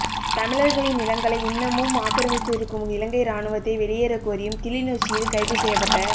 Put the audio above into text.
தமிழர்களின் நிலங்களை இன்னமும் ஆக்கிரமித்திருக்கும் இலங்கை இராணுவத்தை வெளியேறக் கோரியும் கிளிநொச்சியில் கைது செய்யப்பட்ட